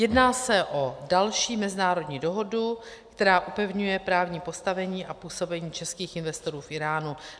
Jedná se o další mezinárodní dohodu, která upevňuje právní postavení a působení českých investorů v Íránu.